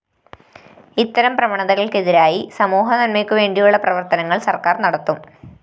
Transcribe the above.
ഇത്തരം പ്രവണതകള്‍ക്കെതിരായി സമൂഹനന്‍മയ്ക്കു വേണ്ടിയുള്ള പ്രവര്‍ത്തനങ്ങള്‍ സര്‍ക്കാര്‍ നടത്തും